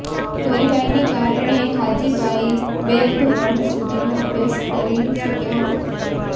ગરીબાઈને કારણે હાજીભાઈ બે ધોરણ સુધીનો અભ્યાસ કરી શક્યા હતા